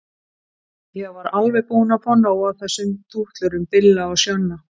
Ég var alveg búin að fá nóg af þessum dútlurum Billa og Sjonna.